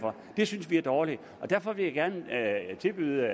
det synes vi er dårligt derfor vil jeg gerne tilbyde